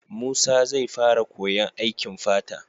Musa zai fara koyan aikin fata